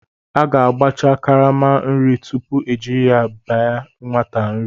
A ga-agbacha karama nri tupu ejiri bye nwate nri.